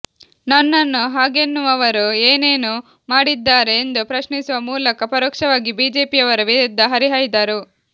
ನನ್ನನ್ನು ಹಾಗೆನ್ನುವವರು ಏನೇನು ಮಾಡಿದ್ದಾರೆ ಎಂದು ಪ್ರಶ್ನಿಸುವ ಮೂಲಕ ಪರೋಕ್ಷವಾಗಿ ಬಿಜೆಪಿಯವರ ವಿರುದ್ಧ ಹರಿಹಾಯ್ದರು